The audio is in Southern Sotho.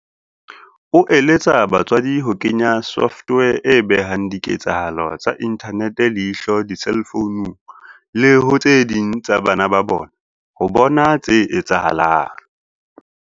O eletsa batswadi ho kenya software e behang diketsahalo tsa inthanete leihlo diselfounung le ho tse ding tsa bana ba bona ho bona tse etsahalang.